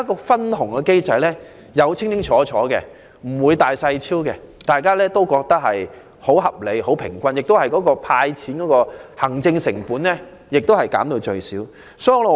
分紅機制可確保事事一清二楚，大公無私，人人感到合理和平均，並令派發金錢的行政成本減至最低。